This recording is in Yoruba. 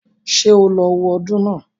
Ṣé o lọ wo ọdún náà